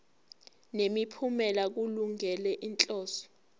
nemiphumela kulungele inhloso